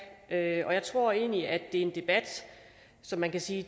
tage og jeg tror egentlig at det er en debat som man kan sige